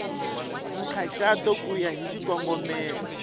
nkhaqato ku ya hi xikongomelo